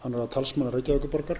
talsmanna reykjavíkurborgar